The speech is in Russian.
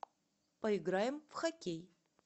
поиграем в хоккей